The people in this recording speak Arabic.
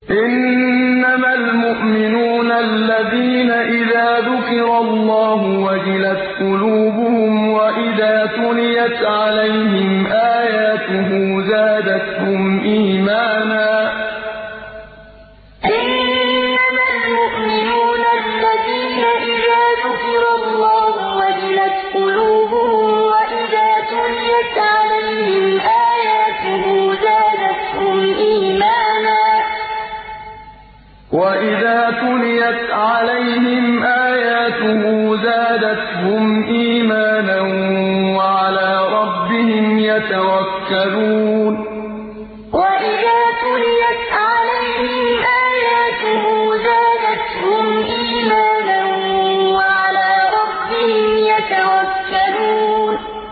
إِنَّمَا الْمُؤْمِنُونَ الَّذِينَ إِذَا ذُكِرَ اللَّهُ وَجِلَتْ قُلُوبُهُمْ وَإِذَا تُلِيَتْ عَلَيْهِمْ آيَاتُهُ زَادَتْهُمْ إِيمَانًا وَعَلَىٰ رَبِّهِمْ يَتَوَكَّلُونَ إِنَّمَا الْمُؤْمِنُونَ الَّذِينَ إِذَا ذُكِرَ اللَّهُ وَجِلَتْ قُلُوبُهُمْ وَإِذَا تُلِيَتْ عَلَيْهِمْ آيَاتُهُ زَادَتْهُمْ إِيمَانًا وَعَلَىٰ رَبِّهِمْ يَتَوَكَّلُونَ